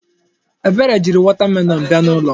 Ebere jiri wọta melọọnụ bịa n'ụlọ m.